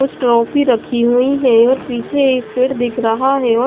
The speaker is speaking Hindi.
कुछ ट्रॉफी रखी हुई हैं और पीछे एक पेड़ दिख रहा है और--